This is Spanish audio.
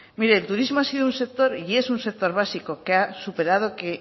mire el turismo ha sido un sector y es un sector básico que ha superado